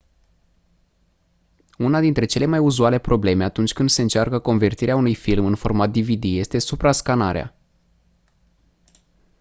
una dintre cele mai uzuale probleme atunci când se încearcă convertirea unui film în format dvd este suprascanarea